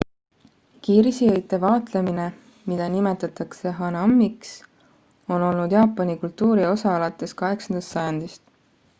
kirsiõite vaatlemine mida nimetatakse hanamiks on olnud jaapani kultuuri osa alates 8 sajandist